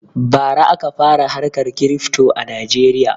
Bara aka fara harka kirifto a najeriya